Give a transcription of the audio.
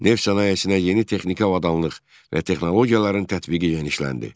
Neft sənayesinə yeni texniki avadanlıq və texnologiyaların tətbiqi genişləndi.